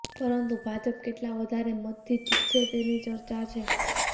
પરંતુ ભાજપ કેટલા વધારે મતથી જીતશે તેની ચર્ચા છે